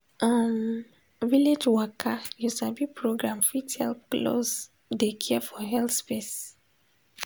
um village waka you sabi program fit help close de care for health space.